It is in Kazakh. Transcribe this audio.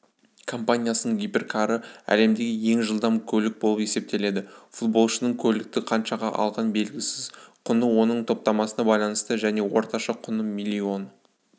компаниясының гиперкары әлемдегі ең жылдам көлік болып есептеледі футболшының көлікті қаншаға алғаны белгісіз құны оның топтамасына байланысты және орташа құны миллион